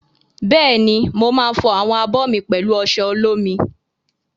Bẹ́ẹ̀ni, mo máa fọ àwọn abọ́ mi pẹ̀lú ọṣẹ olómi.